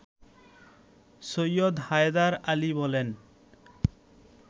সৈয়দ হায়দার আলী বলেন